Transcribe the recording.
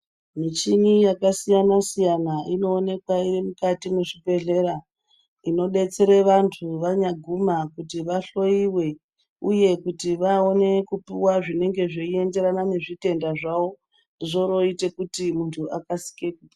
Muchini yakasiyana siyana inoonekwa iri mukati mwezvibhedhleya, inodetsera vantu vanyaguma kuti vahloiwe uye kuti vaone kupuwa zvinenge zveienderana nezvitenda zvawo